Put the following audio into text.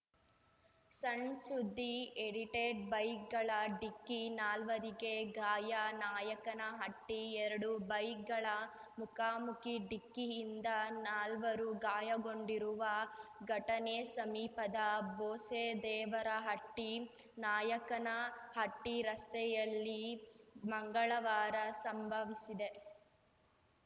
ಸಣ್‌ಸುದ್ದಿಎಡಿಟೆಡ್‌ ಬೈಕ್‌ಗಳ ಡಿಕ್ಕಿ ನಾಲ್ವರಿಗೆ ಗಾಯ ನಾಯಕನಹಟ್ಟಿ ಎರಡು ಬೈಕ್‌ಗಳ ಮುಖಾಮುಖಿ ಡಿಕ್ಕಿಯಿಂದ ನಾಲ್ವರು ಗಾಯಗೊಂಡಿರುವ ಘಟನೆ ಸಮೀಪದ ಬೋಸೇದೇವರಹಟ್ಟಿ ನಾಯಕನಹಟ್ಟಿರಸ್ತೆಯಲ್ಲಿ ಮಂಗಳವಾರ ಸಂಭವಿಸಿದೆ